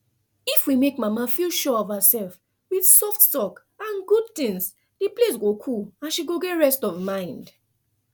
if we make mama feel sure of herself with soft talk and good doings the place go cool and she go rest mind